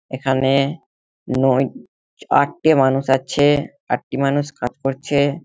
এখানে-এ নয় আটটি মানুষ আছে-এ । আটটি মানুষ কাজ করছে-এ।